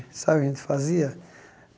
Sabe o que a gente fazia?